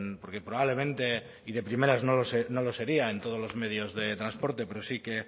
porque probablemente y de primeras no lo sería en todos los medios de transporte pero sí que